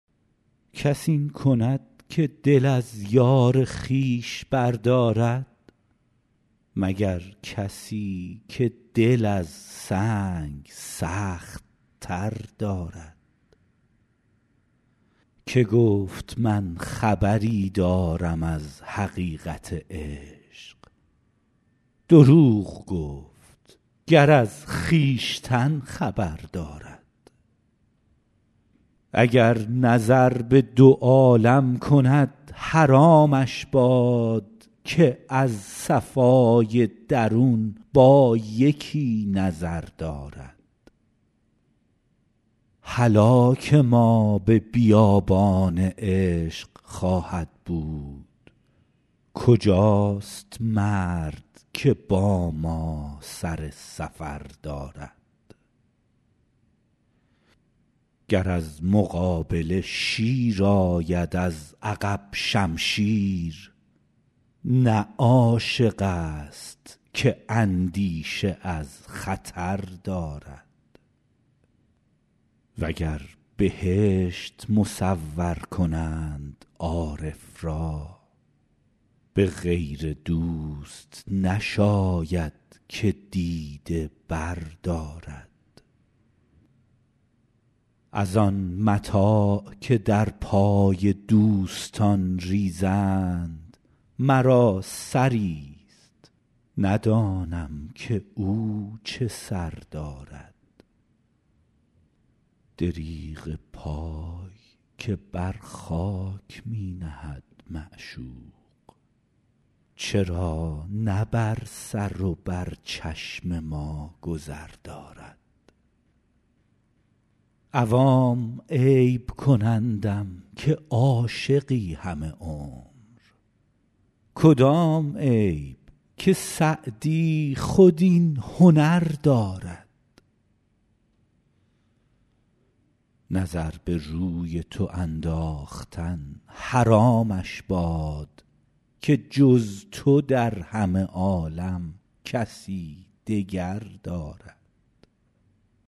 کس این کند که دل از یار خویش بردارد مگر کسی که دل از سنگ سخت تر دارد که گفت من خبری دارم از حقیقت عشق دروغ گفت گر از خویشتن خبر دارد اگر نظر به دو عالم کند حرامش باد که از صفای درون با یکی نظر دارد هلاک ما به بیابان عشق خواهد بود کجاست مرد که با ما سر سفر دارد گر از مقابله شیر آید از عقب شمشیر نه عاشق ست که اندیشه از خطر دارد و گر بهشت مصور کنند عارف را به غیر دوست نشاید که دیده بردارد از آن متاع که در پای دوستان ریزند مرا سری ست ندانم که او چه سر دارد دریغ پای که بر خاک می نهد معشوق چرا نه بر سر و بر چشم ما گذر دارد عوام عیب کنندم که عاشقی همه عمر کدام عیب که سعدی خود این هنر دارد نظر به روی تو انداختن حرامش باد که جز تو در همه عالم کسی دگر دارد